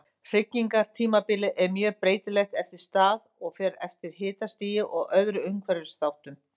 Hrygningartímabilið er mjög breytilegt eftir stað og fer eftir hitastigi og öðrum umhverfisþáttum.